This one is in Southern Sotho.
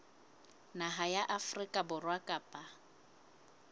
naha ya afrika borwa kapa